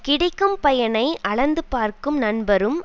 கிடைக்கும் பயனை அளந்து பார்க்கும் நண்பரும்